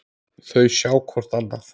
Þau sjá hvort annað.